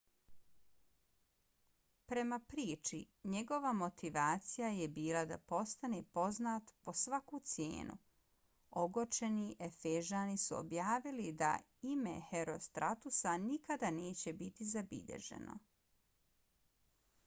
prema priči njegova motivacija je bila da postane poznat po svaku cijenu. ogorčeni efežani su objavili da ime herostratusa nikada neće biti zabilježeno